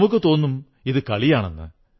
നമുക്കു തോന്നും ഇത് കളിയാണെന്ന്